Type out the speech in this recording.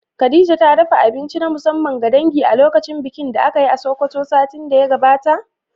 Khadija ta dafa abinci na musamman ga dangi a lokacin bikin da aka yi a Sokoto satin da ya gabata?